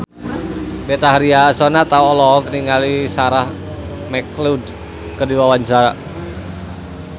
Betharia Sonata olohok ningali Sarah McLeod keur diwawancara